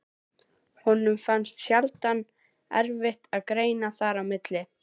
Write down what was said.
Honum finnst sjaldan erfitt að greina þar á milli.